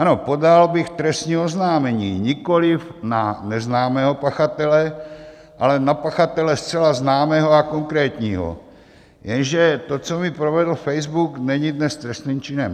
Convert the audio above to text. Ano, podal bych trestní oznámení nikoli na neznámého pachatele, ale na pachatele zcela známého a konkrétního, jenže to, co mi provedl Facebook, není dnes trestným činem.